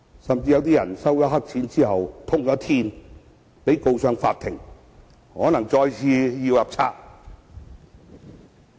此外，也有人因收黑錢被揭發而被告上法庭，有可能要再次"入冊"。